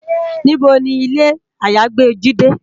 Nibó ni ilé àyágbé Jidé?